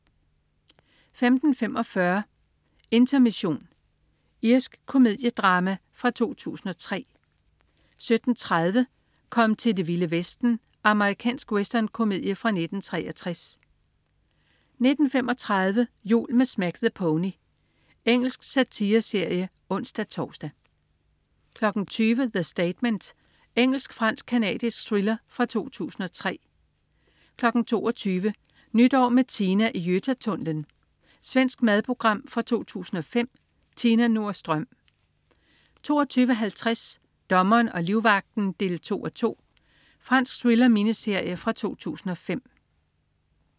15.45 Intermission. Irsk komediedrama fra 2003 17.30 Kom til Det Vilde Vesten! Amerikansk westernkomedie fra 1963 19.35 Jul med Smack the Pony. Engelsk satireserie (ons-tors) 20.00 The Statement. Engelsk-fransk-canadisk thriller fra 2003 22.00 Nytår med Tina i Götatunnellen. Svensk madprogram fra 2005. Tina Nordström 22.50 Dommeren og livvagten 2:2. Fransk thriller-miniserie fra 2005